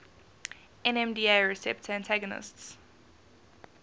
nmda receptor antagonists